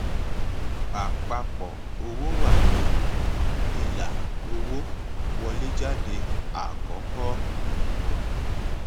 àpapọ owó wà ní ilà owó wọléjáde àkọkọ